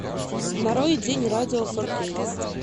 нарой день радио фор кей